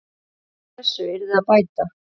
Úr þessu yrði að bæta.